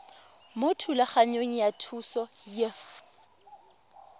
mo thulaganyong ya thuso y